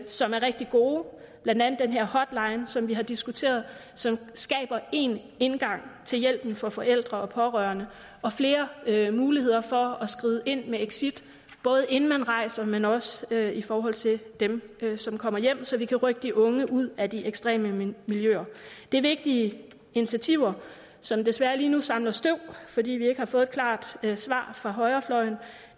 som er rigtig gode blandt andet den her hotline som vi har diskuteret som skaber en indgang til hjælpen for forældre og pårørende og flere muligheder for at skride ind med exit både inden man rejser men også i forhold til dem som kommer hjem så vi kan rykke de unge ud af de ekstreme miljøer det er vigtige initiativer som desværre lige nu samler støv fordi vi ikke har fået et klart svar fra højrefløjen